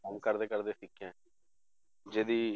ਕੰਮ ਕਰਦੇ ਕਰਦੇ ਸਿੱਖੀਆਂ ਜਿਹਦੀ